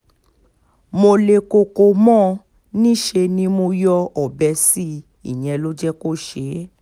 mo le koko mọ́ ọn ní níṣe ni mo yọ ọbẹ̀ sí i ìyẹn ló jẹ́ kó ṣe é